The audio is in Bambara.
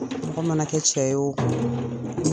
Mɔgɔ mana kɛ cɛ ye oo